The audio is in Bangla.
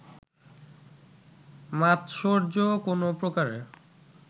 মাৎসর্য কোনো প্রকারে